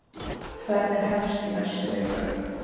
Ferðin hefst í næstu viku.